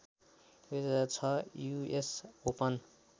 २००६ US open